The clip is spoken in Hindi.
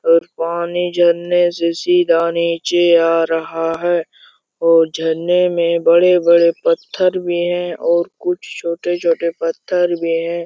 और पानी झरने से सीधा नीचे आ रहा है और झरने में बड़े-बड़े पत्थर भी हैं और कुछ छोटे छोटे पत्तर भी हैं।